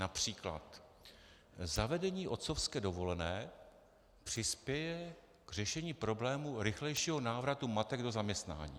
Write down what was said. Například: Zavedení otcovské dovolené přispěje k řešení problému rychlejšího návratu matek do zaměstnání.